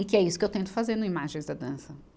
E que é isso que eu tento fazer no Imagens da Dança.